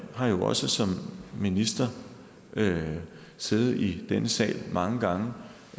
har jo også som minister siddet i denne sal mange gange